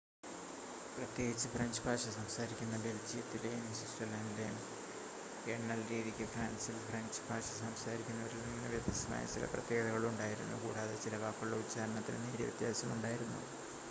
പ്രത്യേകിച്ച് ഫ്രഞ്ച് ഭാഷ സംസാരിക്കുന്ന ബെൽജിയത്തിലെയും സ്വിറ്റ്സർലണ്ടിലെയും എണ്ണൽരീതിക്ക് ഫ്രാൻസിൽ ഫ്രഞ്ച് ഭാഷ സംസാരിക്കുന്നവരിൽനിന്ന് വ്യത്യസ്തമായ ചില പ്രത്യേകതകൾ ഉണ്ടായിരുന്നു കൂടാതെ ചില വാക്കുകളുടെ ഉച്ചാരണത്തിനും നേരിയ വ്യത്യാസം ഉണ്ടായിരുന്നു